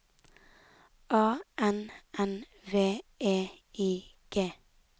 A N N V E I G